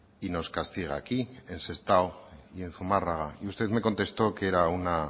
y nos castiga aquí en sestao y en zumárraga y usted me contestó que era una